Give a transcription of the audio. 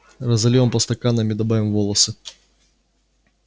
разольём по стаканам и добавим волосы